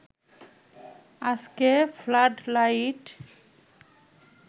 আজকে flood light